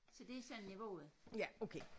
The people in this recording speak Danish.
Så det er sådan niveauet